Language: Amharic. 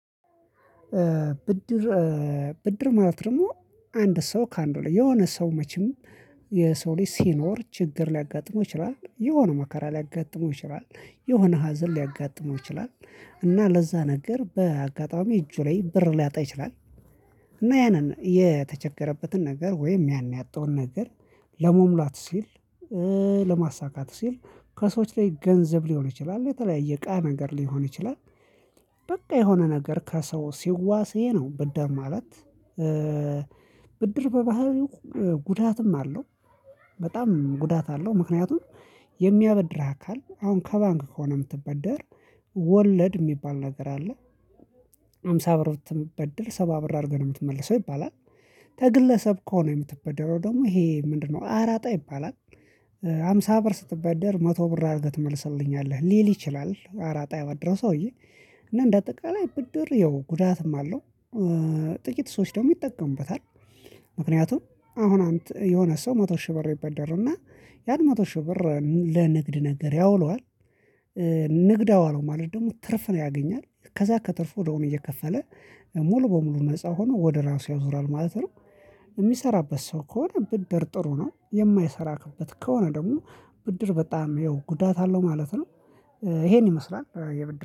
ብድር። ብድር ማለት ደግሞ አንድ ሰው ከአንዱ ላይ የሆነ ሰው መቼም የሰው ልጅ ሲኖር ችግር ሊያጋጥመው ይችላል የሆነ መከራ ሊያጋጥመው ይችላል የሆነ ሀዘን ሊያጋጥመው ይችላል እና ለዛ ነገር በአጋጣሚ እጁ ላይ ብር ሊያጣ ይችላል። እና ያንን የተቸገረበትን ነገር ወይም ያን ያጣውን ነገር ለመሙላት ሲል ለማሳካት ሲል ከሰዎች ላይ ገንዘብ ሊሆን ይችላል በተለያየ እቃ ነገር ሊሆን ይችላል። በቃ የሆነ ነገር ከሰው ሲዋስ ይሄ ነው ብድር ማለት። ብድር በባህሪው ጉዳትም አለው። በጣም ጉዳት አለው ምክንያቱም የሚያበድርህ አካል አሁን ከባንክ ከሆነ የምትበደር ወለድ የሚባል ነገር አለ። ሃምሳ ብር ብትበድር ሰባ ብር አድርገህ ነው የምትመልሰው ይባላል። ከግለሰብ ከሆነ የምትበደረው ደግሞ ይሄ ምንድነው አራጣ ይባላል። ሃምሳ ብር ስትበደር መቶ ብር አድርገህ ትመልስልኛለህ ሊል ይችላል አራጣ ያበደረው ሰውዬ እና እንደ አጠቃላይ ብድር ያው ጉዳትም አለው። ጥቂት ሰዎች ደግሞ ይጠቀሙበታል። ምክንያቱም አሁን የሆነ ሰው መቶ ሺህ ብር ይበደራል እና ያን መቶ ሺህ ብር ለንግድ ነገር ያውለዋል። ንግድ አዋለው ማለት ደግሞ ትርፍ ነው ያገኛል ከዛ ከትርፉ እዳውን እየከፈለ ሙሉ በሙሉ ነፃ ሆኖ ወደ ራሱ ያዞራል ማለት ነው። የሚሰራበት ሰው ከሆነ ብድር ጥሩ ነው የማይሰራክበት ከሆነ ደግሞ ብድር በጣም ያው ጉዳት አለው ማለት ነው። ይሄን ይመስላል የብድር